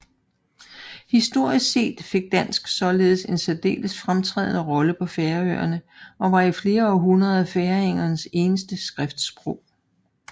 Historisk set fik dansk således en særdeles fremtrædende rolle på Færøerne og var i flere århundreder færingernes eneste skriftsprog